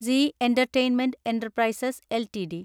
C entertainment enterprises LTD